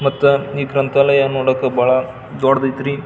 ಮತ್ತೆ ಈ ಗ್ರಂತಾಲಯ ನೋಡಕ್ ಬಹಳ್ ದೊಡ್ಡದ್ ಆಯ್ತ್ರಿ.